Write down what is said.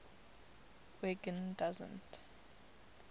wiggin doesn t